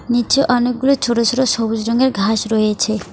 নীচে অনেকগুলো ছোট ছোট সবুজ রঙের ঘাস রয়েছে।